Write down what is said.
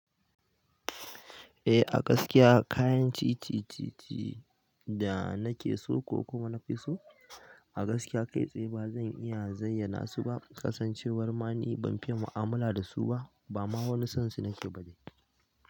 Eh a gaskiya kayan cicicici da na ke so ko kuma na fi so a gaskiya kai tsaye ba zan iya zayyana su ba. Kasancewar ma ni ban fiye mu'amala da su ba ba ma wani sansu nake ba da.